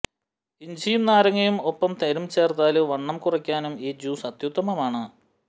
ഇഞ്ചിയും നാരങ്ങയും ഒപ്പം തേനും ചേര്ത്താല് വണ്ണം കുറയ്ക്കാനും ഈ ജ്യൂസ് അത്യുത്തമാണ്